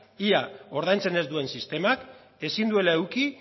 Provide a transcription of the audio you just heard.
ia ordaintzen ez duen sistemak ezin duela eduki